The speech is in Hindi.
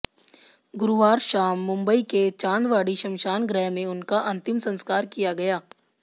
गुरुवार शाम मुंबई के चांदवाड़ी श्मशान गृह में उनका अंतिम संस्कार किया गया